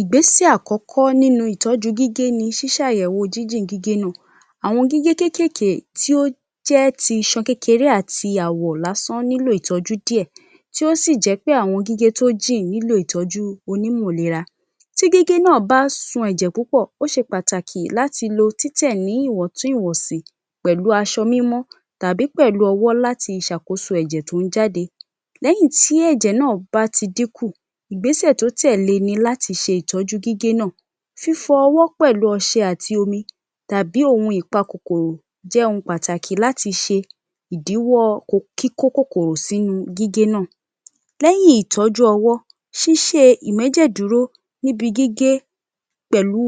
Ìgbésẹ̀ àkọ́kọ́ nínú ìtọ́jú gígé ni ṣí ṣàyẹ̀wò jíjìn gígé náà. Àwọn gígé kéékèèké tó jẹ́ ti iṣan kékeré àti àwọ̀ lásán nílò ìtọ́jú díẹ̀ tó sì jẹ pé àwọn gígé tó jìn nílò ìtọ́jú onímọ̀ lera. Tí gígé náà bá sun ẹ̀jẹ̀ púpọ̀, ó ṣe pàtàkì láti lo títẹ ní ìwọ̀ntún-ìwọ̀nsì pẹ̀lú aṣọ mímọ́ tàbí ọwọ́ láti ṣàkóso ẹ̀jẹ̀ to ń jáde. Lẹ́yìn tí ẹ̀jẹ̀ náà bá ti dínkù, Ìgbésẹ̀ to tẹ́lẹ̀ ni láti ṣe ìtọ́jú gígé náà. Fífọwọ́ pẹ̀lú ọṣẹ àti omi tàbí ohun ìpa kòkòrò jẹ́ ohun pàtàkì láti ṣe ìdíwọ́ kí kó kòkòrò sínu gígé náà. Lẹ́hìn ìtọ́jú ọwọ́, ṣíṣe ìmẹ́jẹ̀ dúró níbi gígé pẹ̀lú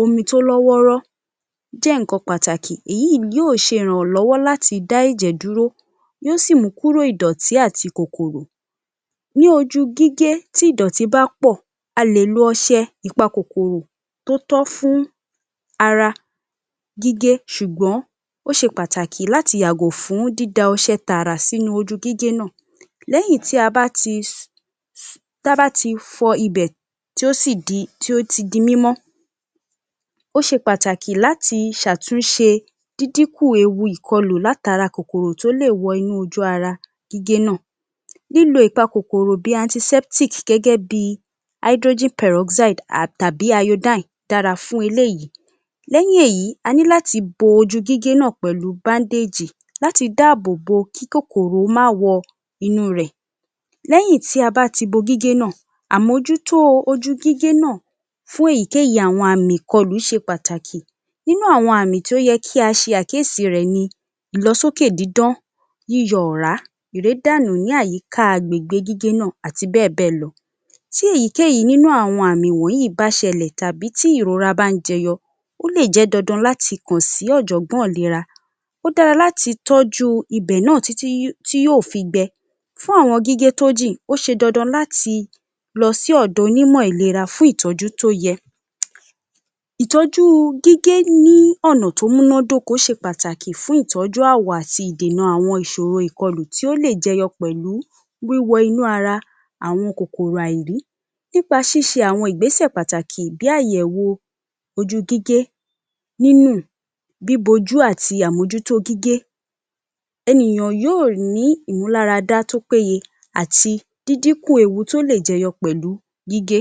omi tó lọ́ wọ́rọ́ je nǹkan pàtàkì. Èyí yóò ṣe ìrànlọ́wọ́ láti dá ẹ̀jẹ̀ dúró, yóò sì mú kúrò ìdọ̀tí ati kòkòrò. Ní ojú gígé tí ìdọ̀tí bá pọ̀, a lè lo ọṣẹ ìpa kòkòrò tó tọ́ fún ara gígé ṣùgbọ́n ó ṣe pàtàkì láti yàgò fún dídá ọṣẹ tààrà sínu ojú gígé náà. Lẹ́yìn tí a bá ti ta bá ti fọ ibẹ̀ tí ó sì di tó ti di mímọ́, ó ṣe pàtàkì láti ṣàtúnṣe díndín kù ewu ìkọlù látara kòkòrò tó lè wọ ojú ara gígé náà. Lílo ìpa kòkòrò bíi antiseptic gẹ́gẹ́ bíi hydrogen peroxide tàbí iodine dára fún eléyìí. Lẹ́yìn èyí, a ní láti bo ojú gígé náà pẹ̀lú bandage láti dáàbò bó kí kòkòrò má wọ inú rẹ̀. Lẹ́yìn tí a bá ti bo gígé náà, àmójútó ojú gígé náà fún èyíkéyìí àwọn àmì ìkọlù ṣe pàtàkì. Nínú àwọn àmì tí ó yẹ kí a ṣe àkíyèsí rẹ̀ ni: ìlọsókè dídán, yíyọ ọ̀rá, ìrédànù ní àyíká agbègbè gígé náà, àti bẹ́ẹ̀ bẹ́ẹ̀ lọ. Tí èyíkéyìí nínú àwọn àmì wọ̀nyí bá ṣẹlẹ̀ tàbí tí ìrora bá ń jẹyọ, ó lè jẹ́ dandan láti kàn sí Ọ̀jọ̀gbọ́n ìlera. Ó dára láti tọ́jú ibẹ̀ náà tí tí tí yóò fi gbẹ. Fún àwọn gígé tó jìn, ó ṣe dandan láti lọ sí ọ̀dọ̀ onímọ̀ ìlera fún ìtọ́jú tó yẹ. Ìtọ́jú gígé ní ọ̀nà tó múná dóko ṣe pàtàkì fún ìtọ́jú àwọ̀ àti ìdènà àwọn ìṣòro ìkọlù tí ó lè jẹyọ pẹ̀lú wíwọ inú ara àwọn kòkòrò àìrí. Nípa ṣíṣe àwọn Ìgbésẹ̀ pàtàkì bí àyẹ̀wò ojú gígé, nínù, bíbojú àti àmójútó gígé. Ènìyàn yóò ní ìmúláradá tó péye àti dídínkù ewu tó lè jẹyọ pẹ̀lú gígé.